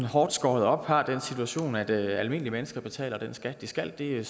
hårdt skåret op har den situation at at almindelige mennesker betaler den skat de skal det